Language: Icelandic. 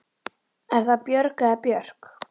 Er það Björg eða Björk?